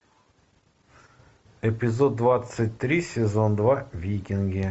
эпизод двадцать три сезон два викинги